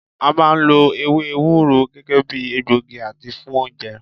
A máà ń lo ewé ewúro gẹ́gẹ́ bíi egbògi àti fún oúnjẹ.